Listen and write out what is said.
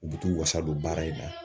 U b t'u wasa don baara in na.